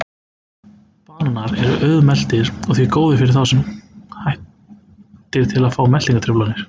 Bananar eru auðmeltir og því góðir fyrir þá sem hættir til að fá meltingartruflanir.